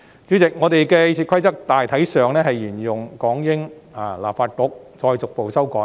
主席，立法會的《議事規則》大體上沿用港英立法局那一套，再逐步作出修改。